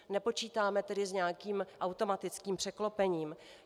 Nepočítáme tedy s nějakým automatickým překlopením.